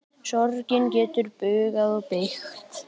Sorgin getur bugað og beygt.